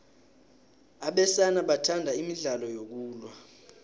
abesana bathanda imidlalo yokulwa